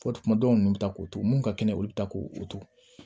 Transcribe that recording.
Fɔ kuma dɔw nunnu bɛ taa k'o to mun ka kɛnɛ olu bi taa k'o o tugu